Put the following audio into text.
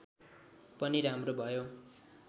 पनि राम्रो भयो